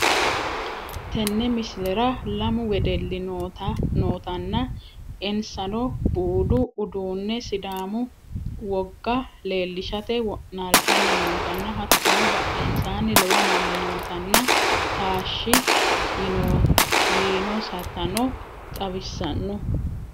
Tenne miislera lammu wedelli nootana ensanno buudu uudune siddamu wogaa lelishate wonaltanni nootana hattono badhensanni loowo manni nootanna taash yiinosatano xawisanno.